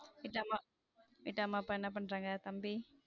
நிஜம்மா அப்பா என்ன பண்றாங்க? தம்பி.